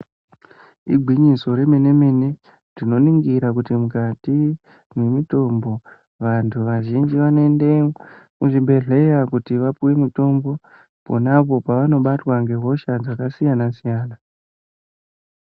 Igwinyiso remene mene tinoningira kuti mukati mwe mitombo vanhu vazhinji vanoende kuzvibhedhleya kuti vapuwe mitombo pona apo pavanobatwa nehosha dzakasiyana siyana.